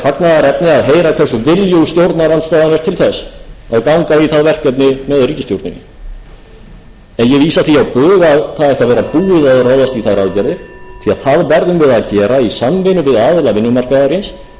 það verkefni með ríkisstjórninni en ég vísa því á bug að það ætti að vera búið að ráðast í þær aðgerðir því það verðum við að gera í samvinnu við aðila vinnumarkaðarins í þeirri vinnu að